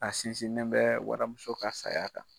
A sinsinnen bɛ waramuso ka saya kan.